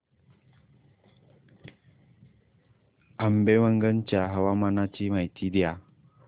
आंबेवंगन च्या हवामानाची माहिती द्या